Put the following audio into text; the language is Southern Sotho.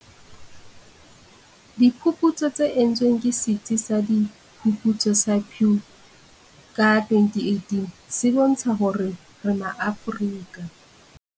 Diphuputso tse entsweng ke Setsi sa Diphuputso sa Pew ka 2018 se bontsha hore Maafrika.